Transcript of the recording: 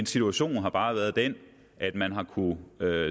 situationen har bare været den at man har kunnet